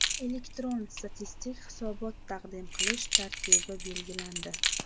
Elektron statistik hisobot taqdim qilish tartibi belgilandi .